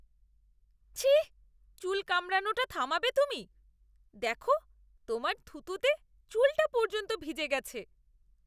ছিঃ! চুল কামড়ানোটা থামাবে তুমি। দেখো, তোমার থুতুতে চুলটা পর্যন্ত ভিজে গেছে।